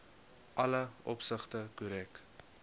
alle opsigte korrek